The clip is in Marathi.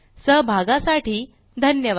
सहभागासाठी धन्यवाद